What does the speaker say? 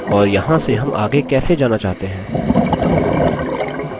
और यहाँ से हम आगे कैसे जाना चाहते हैं